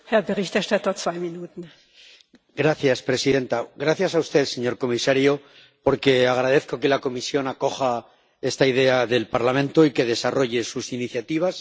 Señora presidenta. Gracias a usted, señor comisario, porque agradezco que la Comisión acoja esta idea del Parlamento y que desarrolle sus iniciativas.